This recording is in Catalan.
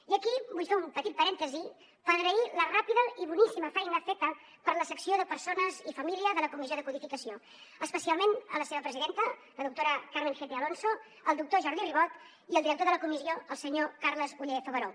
i aquí vull fer un petit parèntesi per agrair la ràpida i boníssima feina feta per la secció de persona i família de la comissió de codificació especialment la seva presidenta la doctora carmen gete alonso el doctor jordi ribot i el director de la comissió el senyor carles ollé favaró